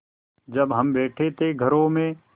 जब हम बैठे थे घरों में